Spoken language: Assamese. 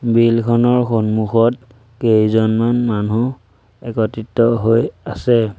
বিলখনৰ সন্মুখত কেইজনমান মানুহ একত্ৰিত হৈ আছে।